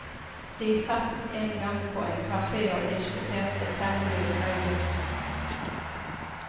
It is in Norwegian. De satt en gang på en kafé og diskuterte temmelig høylytt.